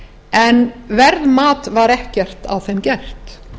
en verðmat var ekkert á þeim gert